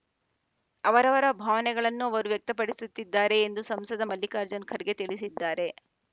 ಅವರವರ ಭಾವನೆಗಳನ್ನು ಅವರು ವ್ಯಕ್ತಪಡಿಸುತ್ತಿದ್ದಾರೆ ಎಂದು ಸಂಸದ ಮಲ್ಲಿಕಾರ್ಜುನ ಖರ್ಗೆ ತಿಳಿಸಿದ್ದಾರೆ